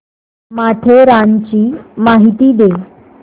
माथेरानची माहिती दे